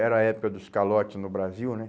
Era a época dos calotes no Brasil, né?